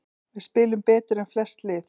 Við spilum betur en flest lið